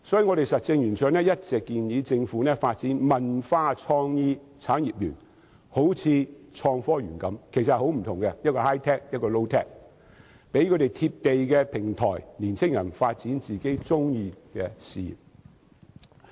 因此，實政圓桌一直建議政府發展"文化創意產業園"，好像創新及科技園般，但其實大為不同，一個是 high-tech， 一個是 low-tech， 為年青人提供"貼地"的平台，發展自己喜歡的事業。